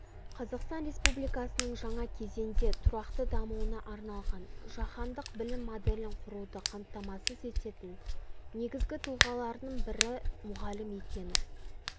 қазақстан республикасының жаңа кезеңде тұрақты дамуына арналған жаһандық білім моделін құруды қамтамасыз ететін негізгі тұлғалардың бірі мұғалім екені